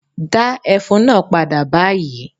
Dá ẹfun náà padà báyìí!